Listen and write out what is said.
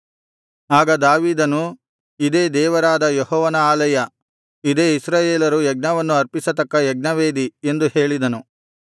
ಆಗ ದಾವೀದನು ಇದೇ ದೇವರಾದ ಯೆಹೋವನ ಆಲಯ ಇದೇ ಇಸ್ರಾಯೇಲರು ಯಜ್ಞವನ್ನು ಅರ್ಪಿಸತಕ್ಕ ಯಜ್ಞವೇದಿ ಎಂದು ಹೇಳಿದನು